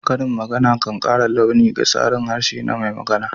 Karin magana kan kara launi ga tsarin harshe na mai magana.